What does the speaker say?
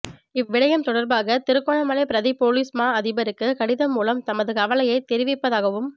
இவ் விடயம் தொடர்பாக திருகோணமலை பிரதி பொலிஸ் மா அதிபருக்கு கடிதம் மூலம் தமது கவலையை தெரிவிப்பதாகவும்